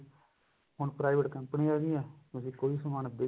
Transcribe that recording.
ਹੁਣ private ਕੰਪਨੀਆ ਆ ਗਈਆ ਜਿਸ ਚ ਕੋਈ ਸਮਾਨ ਅੱਗੇ